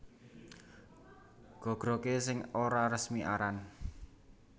Gagragé sing ora resmi aran